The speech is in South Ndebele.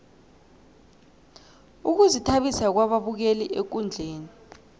ukuzithabisa kwababukeli ekundleni